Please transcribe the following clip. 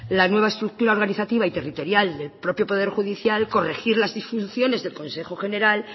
la nueva estructura organizativa y territorial del propio poder judicial corregir las disfunciones del consejo general